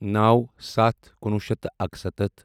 نَوو سَتھ کُنوُہ شیٚتھ تہٕ اَکسَتتھ